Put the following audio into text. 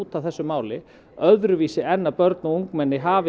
að þessu máli öðruvísi en að börn og ungmenni hafi